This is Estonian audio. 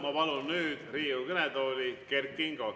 Ma palun nüüd Riigikogu kõnetooli Kert Kingo.